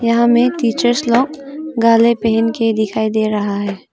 यहां में टीचर्स लोग गाले पहन के दिखाई दे रहा है।